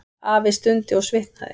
Afi stundi og svitnaði.